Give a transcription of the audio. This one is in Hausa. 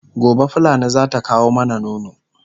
gobe fulani zata kawo mana nono